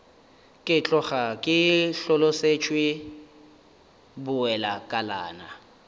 ke tloga ke hlolosetšwe bowelakalana